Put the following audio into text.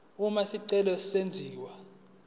uma isicelo senziwa